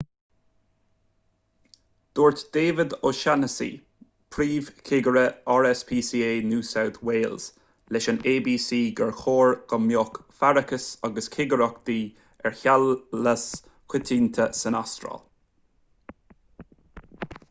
dúirt david o'shannessy príomhchigire rspca new south wales leis an abc gur chóir go mbeadh faireachas agus cigireachtaí ar sheamlais coitianta san astráil